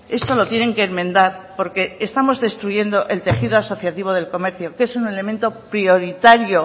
esto lo tienen que enmendar porque estamos destruyendo el tejido asociativo del comercio que es un elemento prioritario